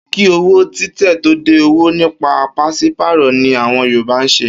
Kí owó títẹ̀ tó dé, òwò nípa pàs̩ípàrò̩ ni àwo̩n Yorùbá ń s̩e